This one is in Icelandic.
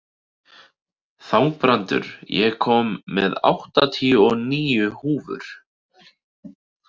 Þangbrandur, ég kom með áttatíu og níu húfur!